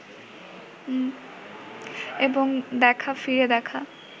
এবং দেখা ফিরে দেখা